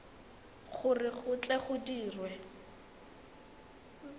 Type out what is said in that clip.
gore go tle go dirwe